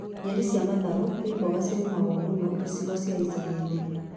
Nyeni cia matharũ nĩ mboga cirĩmagwo mũno icigo cia icagi-inĩ